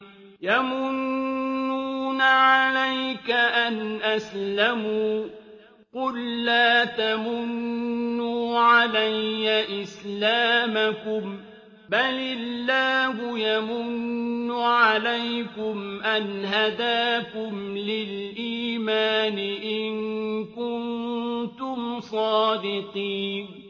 يَمُنُّونَ عَلَيْكَ أَنْ أَسْلَمُوا ۖ قُل لَّا تَمُنُّوا عَلَيَّ إِسْلَامَكُم ۖ بَلِ اللَّهُ يَمُنُّ عَلَيْكُمْ أَنْ هَدَاكُمْ لِلْإِيمَانِ إِن كُنتُمْ صَادِقِينَ